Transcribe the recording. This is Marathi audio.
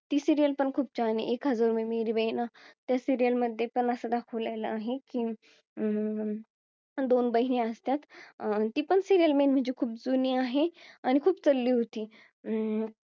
ती serial पण खूप छान आहे एक हजारो मे मेरी बहना त्या serial मध्ये पण असं दाखवलेला आहे की अं दोन बहिणी असतात ती पण serial main म्हणजे खूप जुनी आहे आणि खूप चालली होती अं